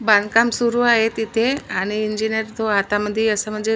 बांधकाम सुरु आहे तिथे आणि इंजिनयर तो हाता मधी अस म्हणजे--